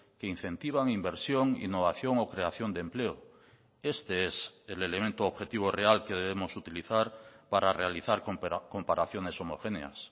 que incentivan inversión innovación o creación de empleo este es el elemento objetivo real que debemos utilizar para realizar comparaciones homogéneas